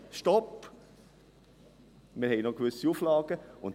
«Stopp, wir haben noch gewisse Auflagen!».